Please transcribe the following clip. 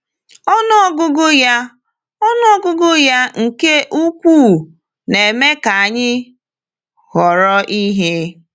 Ọnụ ọgụgụ ya Ọnụ ọgụgụ ya nke ukwuu na-eme ka anyị họrọ ihe.